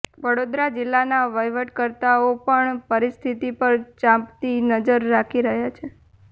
વડોદરા જિલ્લાના વહીવટકર્તાઓ પણ પરિસ્થિતિ પર ચાંપતી નજર રાખી રહ્યા છે